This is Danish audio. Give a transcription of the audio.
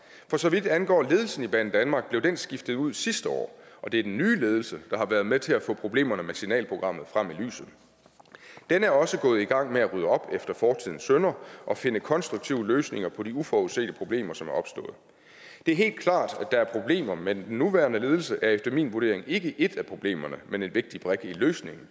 for så vidt angår ledelsen i banedanmark blev den skiftet ud sidste år og det er den nye ledelse der har været med til at få problemerne med signalprogrammet frem i lyset den er også gået i gang med at rydde op efter fortidens synder og finde konstruktive løsninger på de uforudsete problemer som er opstået det er helt klart at der er problemer men den nuværende ledelse er efter min vurdering ikke et af problemerne men en vigtig brik i løsningen